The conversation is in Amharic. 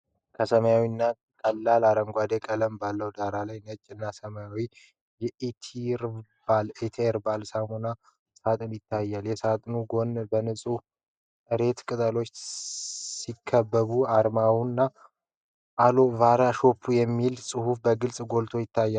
ከሰማያዊ እና ቀላል አረንጓዴ ቀለም ባለው ዳራ ላይ ነጭ እና ሰማያዊ የኢቴርባል (E HERBAL) ሳሙና ሳጥን ይታያል። የሳጥኑ ጎን በንጹህ እሬት (Aloe-Vera) ቅጠሎች ሲከበብ፣ አርማውና "Aloe-Vera Soap" የሚለው ጽሑፍ በግልጽ ጎልቶ ይታያል።